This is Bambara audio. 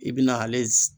I bi na ale